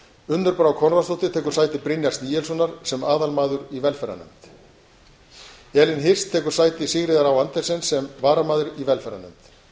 unnur brá konráðsdóttir tekur sæti brynjars níelssonar sem aðalmaður í velferðarnefnd elín hirst tekur sæti sigríðar á andersen sem varamaður í velferðarnefnd